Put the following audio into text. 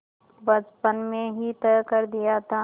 बचपन में ही तय कर दिया था